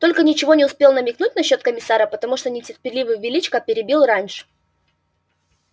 только ничего не успел намекнуть насчёт комиссара потому что нетерпеливый величко перебил раньше